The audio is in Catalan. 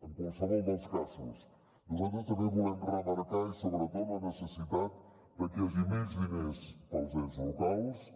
en qualsevol dels casos nosaltres també volem remarcar i sobretot la necessitat de que hi hagi més diners per als ens locals